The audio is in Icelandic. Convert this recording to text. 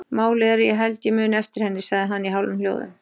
Málið er að ég held ég muni eftir henni, sagði hann í hálfum hljóðum.